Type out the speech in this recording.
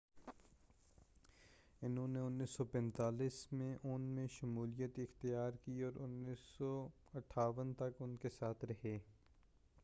انہوں نے 1945 میں ان میں شمولیت اختیار کی اور 1958 تک ان کے ساتھ رہے